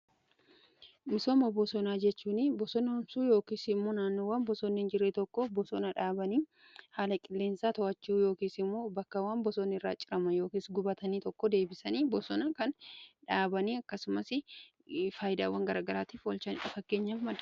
Misooma bosonaa jechuun bosona kunuunsuu yookiin immoo naannowwan bosoonni hin jirree tokko bosona dhaabanii haala qileensaa to'achuu yookiin immoo bakkawwan bosonni irraa cirame yookiin gubatanii tokko deebisanii bosona kan dhaabanii akkasumas faayidaawwan garaa garaatif oolchudha.